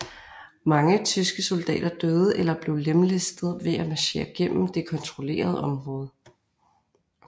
Mange tyske soldater døde eller blev lemlæstet ved at marchere gennem det kontrollerede område